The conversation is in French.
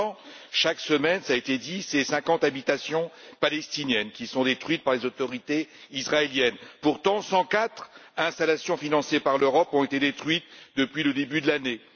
Pourtant, chaque semaine, cela a été dit, 50 habitations palestiniennes sont détruites par les autorités israéliennes. Pourtant, 104 installations financées par l'Europe ont été détruites depuis le début de l'année.